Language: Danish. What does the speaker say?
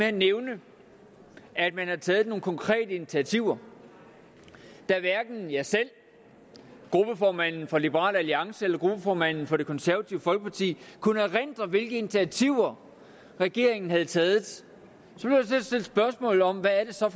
han nævnte at man havde taget nogle konkrete initiativer da hverken jeg selv gruppeformanden for liberal alliance eller gruppeformanden for det konservative folkeparti kunne erindre hvilke initiativer regeringen havde taget at stille spørgsmål om hvad det så